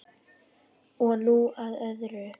Og nú að öðru.